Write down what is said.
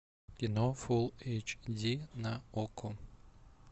кино фул эйч ди на окко